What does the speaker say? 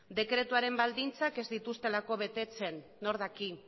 dekretuaren baldintzak ez dituztelako betetzen nork daki